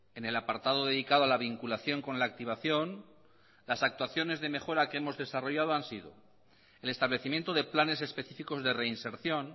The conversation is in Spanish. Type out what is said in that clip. en el apartado dedicado a la vinculación con la activación las actuaciones de mejora que hemos desarrollado han sido el establecimiento de planes específicos de reinserción